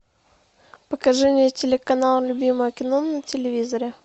покажи мне телеканал любимое кино на телевизоре